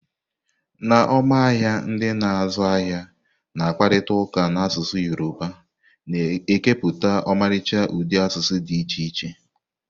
N'ọma ahịa, ndị na-azụ ahịa na-akparịta ụka n'asụsụ Yoruba, na-ekepụta ọmarịcha ụdị asụsụ dị iche iche.